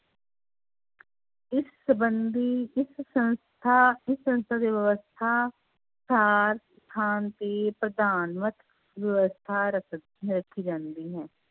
ਇਸ ਸੰਬੰਧੀ ਇਸ ਸੰਸਥਾ ਇਸ ਸੰਸਥਾ ਦੀ ਵਿਵਸਥਾ ਵਿਵਸਥਾ ਰੱਖ ਰੱਖੀ ਜਾਂਦੀ ਹੈ